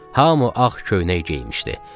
Hamı ağ köynək geymişdi.